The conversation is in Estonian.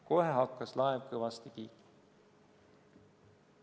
Kohe hakkas laev kõvasti kiikuma.